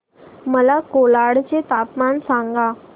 मला कोलाड चे तापमान सांगा